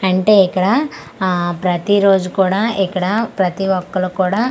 అంటే ఇక్కడ ఆ ప్రతి రోజు కూడా ఇక్కడ ప్రతి ఒక్కలు కూడా--